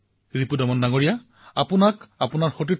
ৰিপুদমন জী পুনৰবাৰ আপোনাক অশেষ ধন্যবাদ